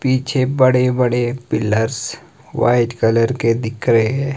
पीछे बड़े बड़े पिलर्स वाइट कलर के दिख रहे--